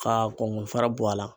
K'a kɔnkɔn fara bɔ a la.